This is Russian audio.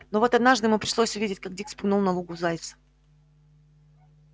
но вот однажды ему пришлось увидеть как дик спугнул на лугу зайца